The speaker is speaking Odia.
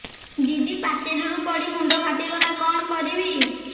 ଦିଦି ପାଚେରୀରୁ ପଡି ମୁଣ୍ଡ ଫାଟିଗଲା କଣ କରିବି